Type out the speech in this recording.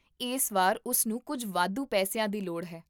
ਇਸ ਵਾਰ, ਉਸ ਨੂੰ ਕੁੱਝ ਵਾਧੂ ਪੈਸਿਆਂ ਦੀ ਲੋੜ ਹੈ